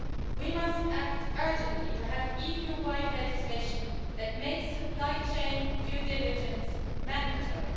We must act urgently to have EU-wide legislation that makes supply chain due diligence mandatory.